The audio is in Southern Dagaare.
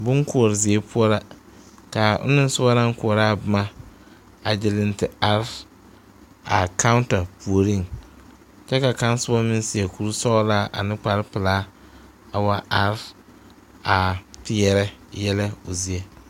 Boŋ koɔre zie poɔ la ka ona soba naŋ koɔrɔ a boma a gyiri te are a kawuta puoriŋ kyɛ ka kaŋa soba meŋ seɛ kuri sɔglaa ane kpare pelaa a wa are a peɛrɛ yɛlɛ o zie.